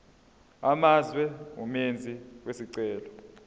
amazwe umenzi wesicelo